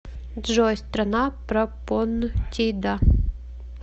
джой страна пропонтида